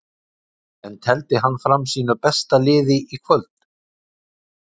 En tefldi hann fram sínu besta liði í kvöld?